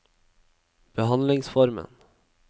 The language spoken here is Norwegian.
behandlingsformen